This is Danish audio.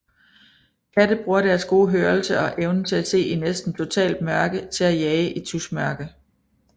Katte bruger deres gode hørelse og evnen til at se i næsten totalt mørke til at jage i tusmørke